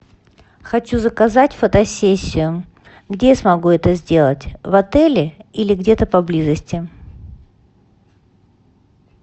хочу заказать фотосессию где я смогу это сделать в отеле или где то поблизости